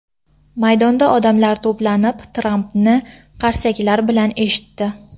Maydonda odamlar to‘planib, Trampni qarsaklar bilan eshitdi.